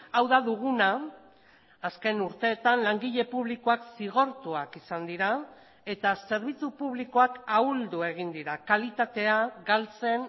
hau da duguna azken urteetan langile publikoak zigortuak izan dira eta zerbitzu publikoak ahuldu egin dira kalitatea galtzen